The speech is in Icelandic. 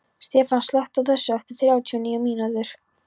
Stefan, slökktu á þessu eftir þrjátíu og níu mínútur.